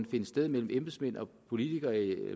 finde sted mellem embedsmænd politikere og